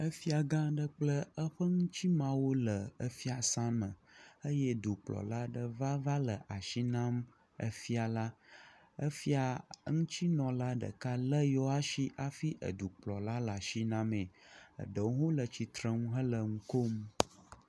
efia gã ɖe kple eƒe eŋtsimeawo le efiasã me eye dukplɔla aɖe va vale asi nam efia la efia eŋutsi nɔla ɖeka le yewɔsi hafi dukplɔla le asi namee eɖewo hɔ̃ le tsitrenu he ŋukom